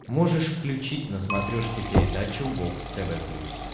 можешь включить на смотрешке передачу бокс тв плюс